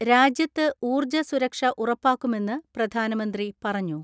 രാജ്യത്ത് ഊർജ്ജ സുരക്ഷ ഉറപ്പാക്കുമെന്ന് പ്രധാനമന്ത്രി പറഞ്ഞു.